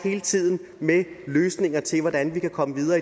hele tiden med løsninger til hvordan vi kan komme videre